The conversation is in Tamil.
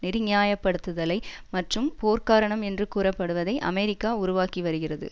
நெறி நியாயப்படுத்துதலை மற்றும் போர்க்கரணம் என்று கூறப்படுவதை அமெரிக்கா உருவாக்கி வருகிறது